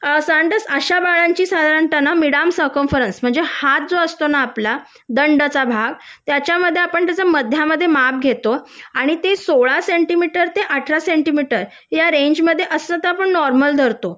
साधारणता अशा बाळांची साधारणता ना मिड आर्म सरकम फोरस म्हणजे हात जो असतो ना आपला दंडाचा भाग त्याच्यामध्ये त्याच्या मध्यामध्ये आपण माप घेतो आणि ते सोळा सेंटीमीटर ते अठरा सेंटीमीटर असलं तर आपण ते नॉर्मल धरतो